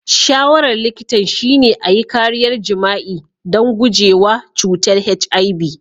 Shawarar likitan shine a yi kariya jima'i don guje wa cutar HIV.